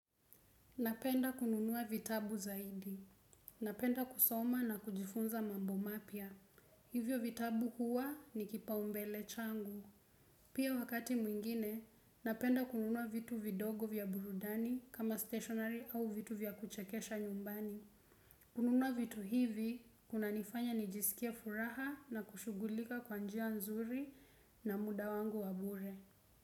Napenda kununua vitabu zaidi. Napenda kusoma na kujifunza mambo mapya. Hivyo vitabu huwa ni kipaumbele changu. Pia wakati mwingine, napenda kununua vitu vidogo vya burudani kama stationary au vitu vya kuchekesha nyumbani. Kununua vitu hivi, kuna nifanya nijisikie furaha na kushugulika kwanjia nzuri na muda wangu wabure.